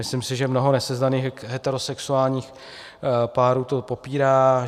Myslím si, že mnoho nesezdaných heterosexuálních párů to popírá.